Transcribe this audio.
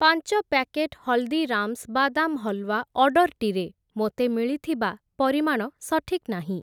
ପାଞ୍ଚ ପ୍ୟାକେଟ୍‌ ହଲ୍‌ଦୀରାମ୍‌ସ୍‌ ବାଦାମ୍ ହଲ୍‌ୱା ଅର୍ଡ଼ର୍‌ଟିରେ ମୋତେ ମିଳିଥିବା ପରିମାଣ ସଠିକ୍ ନାହିଁ ।